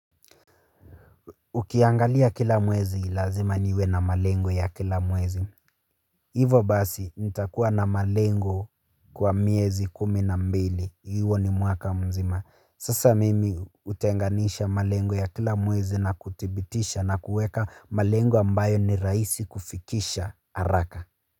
Ukiangalia kila mwezi lazima niwe na malengo ya kila mwezi. Hivo basi nitakuwa na malengo kwa miezi kumi na mbili. Hiyo ni mwaka mzima. Sasa mimi hutenganisha malengo ya kila mwezi na kuthibitisha na kuweka malengo ambayo ni rahisi kufikisha haraka.